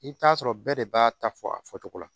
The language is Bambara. I bɛ taa sɔrɔ bɛɛ de b'a ta fɔ a fɔcogo la